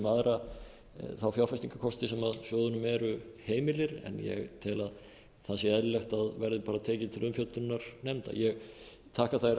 aðra þá fjárfestingarkosti sem sjóðunum eru heimilir en ég tel að það sé eðlilegt að verði tekið til umfjöllunar nefnda ég þakka þær